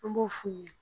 An b'o f'u ye